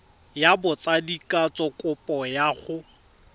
ya botsadikatsho kopo ya go